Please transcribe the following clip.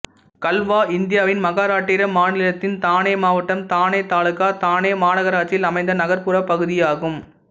கல்வா இந்தியாவின் மகாராட்டிரா மாநிலத்தின் தானே மாவட்டம் தானே தாலுகா தானே மாநகராட்சியில் அமைந்த நகர்புற பகுதியாகும்